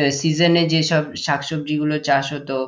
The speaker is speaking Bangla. আহ season যে সব শাক সবজি গুলো চাষ হতো,